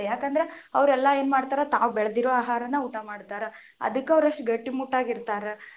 ಯಾಕಂದ್ರೆ ಅವ್ರೆಲ್ಲಾ ಏನ ಮಾಡ್ತಾರ ತಾವ್ ಬೆಳೆದಿರೋ ಆಹಾರನ ಊಟಾ ಮಾಡ್ತಾರ, ಅದಕ್ಕ ಅವ್ರು ಅಷ್ಟ ಗಟ್ಟಿ ಮುಟ್ಟಾಗಿ ಇರ್ತಾರ.